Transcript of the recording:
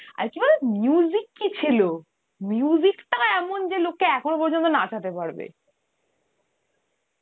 আর কি বল কি ছিল টা এমোন লোককে এখনও পর্যন্ত নাচাতে পারবে.